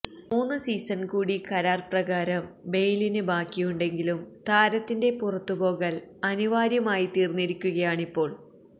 മൂന്ന് സീസണ് കൂടി കരാര് പ്രകാരം ബെയ്ലിന് ബാക്കിയുണ്ടെങ്കിലും താരത്തിന്റെ പുറത്ത് പോകല് അനിവാര്യമായി തീര്ന്നിരിക്കുകയാണിപ്പോള്